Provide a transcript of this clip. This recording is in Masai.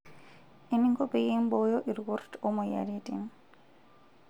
Eninko peyie imbooyo irkurt omoyiaritin.